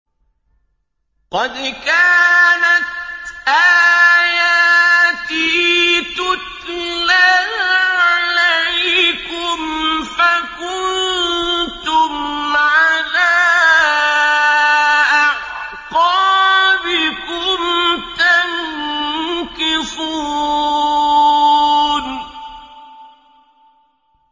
قَدْ كَانَتْ آيَاتِي تُتْلَىٰ عَلَيْكُمْ فَكُنتُمْ عَلَىٰ أَعْقَابِكُمْ تَنكِصُونَ